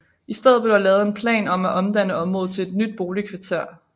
I stedet blev der lavet en plan om at omdanne området til et nyt boligkvarter